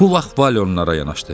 Bu vaxt Vale onlara yanaşdı.